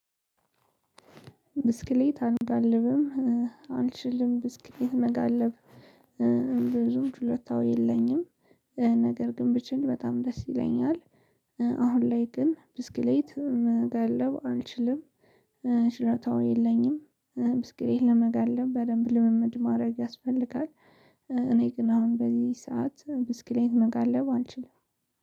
ብስክሌት አልጋልብም። አልችልም ብስክሌት መጋለብ ብዙም ችሎታው የለኝም። ነገር ግን ብችል በጣም ደስ ይለኛል። አሁን ላይ ግን ብስክሌት መጋለብ አልችልም። ችሎታው የለኝም። ብስክሌት ለመጋለብ በደንብ ልምምድ ማረግ ያስፈልጋል። እኔ ግን አሁን በዚህ ሰዓት ብስክሌት መጋለብ አልችልም